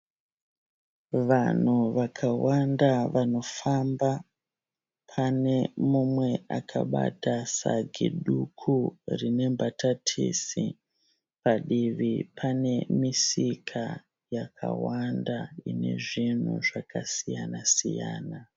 Vanhu vakawanda vanofamba pane mumwe akabata sagi duku rine mbatatisi. Padivi pane misika yakawanda ine zvinhu zvakasiyana siyana.